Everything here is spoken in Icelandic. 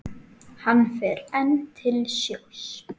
Hann fer enn til sjós.